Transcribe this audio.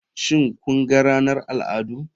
Shin kun ga ranar al'adu.